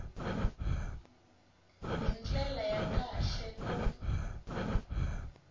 hi ndlela ya kahle ku